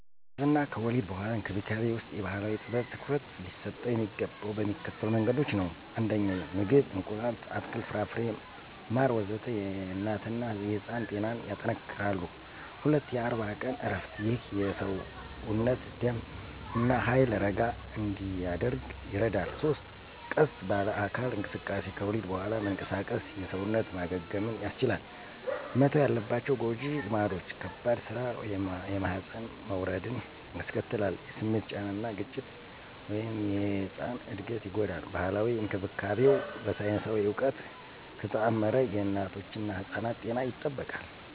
እርግዝና እና ከወሊድ በኋላ እንክብካቤ ውስጥ የባህላዊ ጥበብ ትኩረት ሊሰጠው የሚገባው በሚከተሉት መንገዶች ነው 1. ምግብ – እንቁላል፣ አትክልት፣ ፍራፍሬና ማር ወዘተ... የእናትና የሕፃን ጤናን ያጠነክራሉ። 2. የ40 ቀን እረፍት – ይህ የሰውነት ደም እና ኃይል ረጋ እንዲያደርግ ይረዳል። 3. ቀስ ባለ አካል እንቅስቃሴ – ከወሊድ በኋላ መንቀሳቀስ የሰውነት ማገገምን ያስቻላል። መተው ያለባቸው ጎጂ ልማዶች - ከባድ ሥራ (የማህፀን መውረድን ያስከትላል) - የስሜት ጫና እና ግጭት (የሕጻን እድገትን ይጎዳል) ባህላዊ እንክብካቤው በሳይንሳዊ እውቀት ከተጣመረ የእናቶችና ሕጻናት ጤና ይጠበቃል።